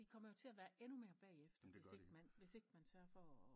De kommer jo til at være endnu mere bagefter hvis ikke man hvis ikke man sørger for